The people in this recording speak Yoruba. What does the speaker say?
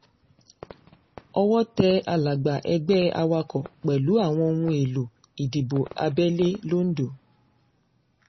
owó tẹ alága ẹgbẹ́ awakọ̀ pẹ̀lú àwọn ohun èèlò ìdìbò abẹ́lé londo